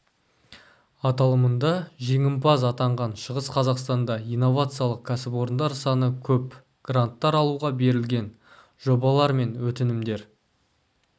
аталымында жеңімпаз атанған шығыс қазақстанда инновациялық кәсіпорындар саны көп гранттар алуға берілген жобалар мен өтінімдер